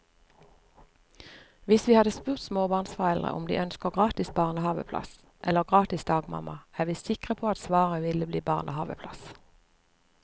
Hvis vi hadde spurt småbarnsforeldre om de ønsker gratis barnehaveplass eller gratis dagmamma, er vi sikre på at svaret ville bli barnehaveplass.